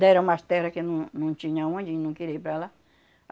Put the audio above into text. Deram umas terra que não não tinha onde e não queria ir para lá.